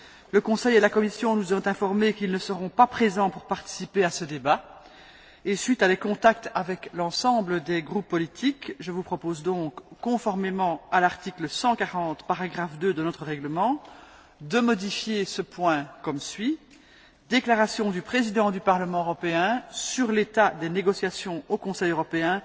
Le Conseil et la Commission nous ont informés qu'ils ne seront pas présents pour participer à ce débat, et suite à des contacts avec l'ensemble des groupes politiques, je vous propose donc, conformément à l'article 140, paragraphe 2, de notre règlement, de modifier ce point comme suit Déclaration du Président du Parlement européen sur l'état des négociations au Conseil européen